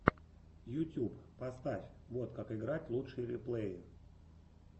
ютьюб поставь вот как играть лучшие реплеи